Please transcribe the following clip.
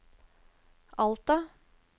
Alta